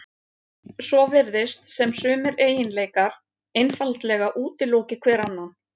svo virðist sem sumir eiginleikar einfaldlega útiloki hver annan